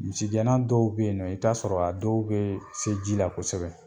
Misigɛnna dɔw be yen nɔ i b taa sɔrɔ a dɔw bee se ji la kosɛbɛ.